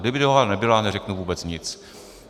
Kdyby dohoda nebyla, neřeknu vůbec nic.